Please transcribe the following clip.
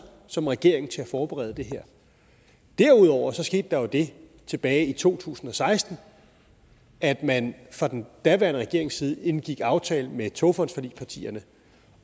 som regering til at forberede det her derudover skete der jo det tilbage i to tusind og seksten at man fra den daværende regerings side indgik en aftale med togfondsforligspartierne